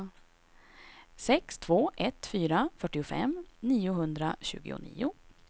sex två ett fyra fyrtiofem niohundratjugonio